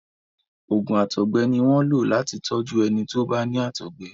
oògùn àtọgbẹ ní wón lo láti tọju ẹni tọ bá ní àtọgbẹ